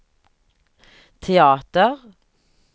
teater